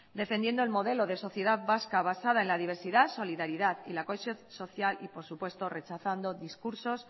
defendiendo el modelo de sociedad vasca basada en la diversidad solidaridad y la cohesión social y por supuesto rechazando discursos